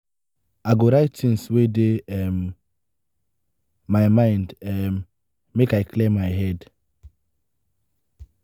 i go write tins wey dey um my mind um make i clear my head.